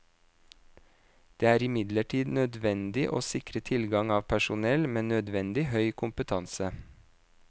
Det er imidlertid nødvendig å sikre tilgang av personell med nødvendig høy kompetanse.